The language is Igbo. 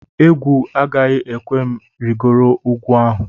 Egwu agaghị ekwe m rịgoro ugwu ahụ